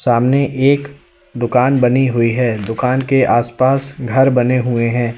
सामने एक दुकान बनी हुई है दुकान के आसपास घर बने हुए हैं।